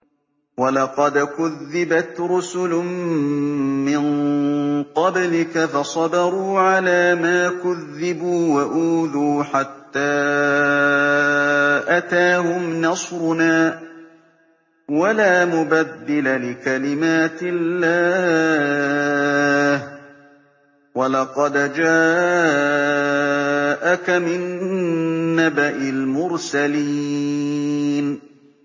وَلَقَدْ كُذِّبَتْ رُسُلٌ مِّن قَبْلِكَ فَصَبَرُوا عَلَىٰ مَا كُذِّبُوا وَأُوذُوا حَتَّىٰ أَتَاهُمْ نَصْرُنَا ۚ وَلَا مُبَدِّلَ لِكَلِمَاتِ اللَّهِ ۚ وَلَقَدْ جَاءَكَ مِن نَّبَإِ الْمُرْسَلِينَ